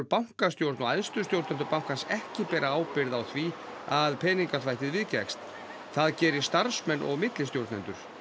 bankastjórn og æðstu stjórnendur bankans ekki bera ábyrgð á því að peningaþvættið viðgekkst það geri starfsmenn og millistjórnendur